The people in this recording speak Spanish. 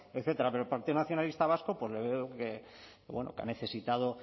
etcétera pero el partido nacionalista vasco pues le veo que ha necesitado